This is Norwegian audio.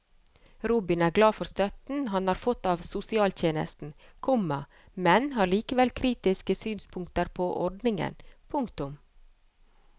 Robin er glad for støtten han har fått av sosialtjenesten, komma men har likevel kritiske synspunkter på ordningen. punktum